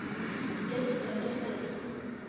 dis winter dis